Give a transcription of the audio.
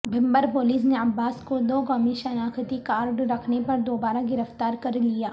بھمبرپولیس نےعباس کو دو قومی شناختی کارڈ رکھنے پر دوبارہ گرفتار کرلیا